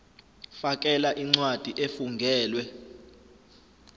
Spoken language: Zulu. fakela incwadi efungelwe